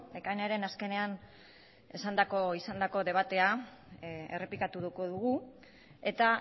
ekainaren azkenean esandako izandako debatea errepikatuko dugu eta